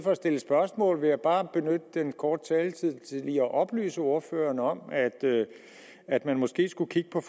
for at stille spørgsmål vil jeg bare benytte denne korte taletid til lige at oplyse ordføreren om at man måske skulle kigge på